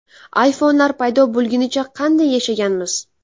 iPhone’lar paydo bo‘lgunicha qanday yashaganmiz?